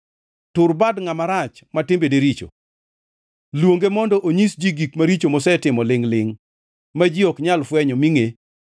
Tur bad ngʼama rach ma timbene richo; luonge mondo onyis ji gik maricho mosetimo lingʼ-lingʼ, ma ji ok nyal fwenyo mi ngʼe.